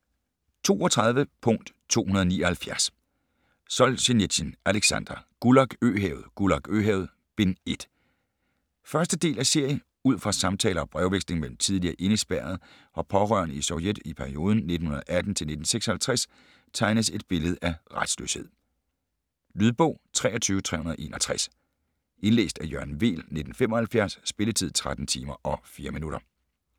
32.279 Solzjenitsyn, Aleksandr: Gulag øhavet: Gulag øhavet - 1. bind 1. del af serie. Ud fra samtaler og brevveksling mellem tidligere indespærrede og pårørende i Sovjet i perioden 1918-1956 tegnes et billede af retsløshed. Lydbog 23361 Indlæst af Jørgen Weel, 1975. Spilletid: 13 timer, 4 minutter.